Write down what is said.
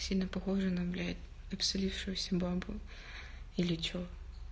сильно похожа на блять абсолившуюся бабу или что